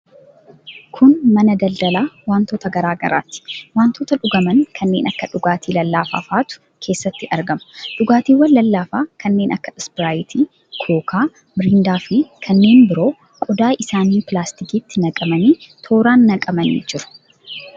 Kun mana daldalaa wantoota garaa garaati. Wantoota dhuguman kanneen akka dhugaatii lallaafaa fa'atu keessatti argama. Dhugaatiiwwan lallaafaa kanneen akka ispiraayitii, kookaa, miriindaafi kanneen biroon qodaa isaanii pilaaskitiitti naqamanii tooraan naqamanii jiru.